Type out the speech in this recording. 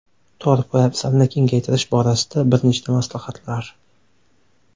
Tor poyabzalni kengaytirish borasida bir nechta maslahatlar.